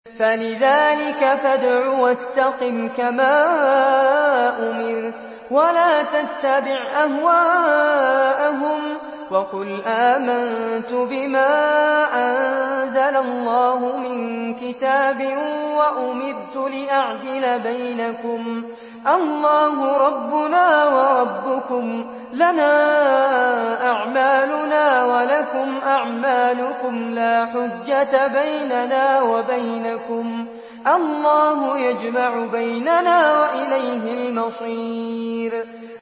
فَلِذَٰلِكَ فَادْعُ ۖ وَاسْتَقِمْ كَمَا أُمِرْتَ ۖ وَلَا تَتَّبِعْ أَهْوَاءَهُمْ ۖ وَقُلْ آمَنتُ بِمَا أَنزَلَ اللَّهُ مِن كِتَابٍ ۖ وَأُمِرْتُ لِأَعْدِلَ بَيْنَكُمُ ۖ اللَّهُ رَبُّنَا وَرَبُّكُمْ ۖ لَنَا أَعْمَالُنَا وَلَكُمْ أَعْمَالُكُمْ ۖ لَا حُجَّةَ بَيْنَنَا وَبَيْنَكُمُ ۖ اللَّهُ يَجْمَعُ بَيْنَنَا ۖ وَإِلَيْهِ الْمَصِيرُ